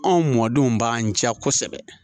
Anw mɔdenw b'an jɛ kosɛbɛ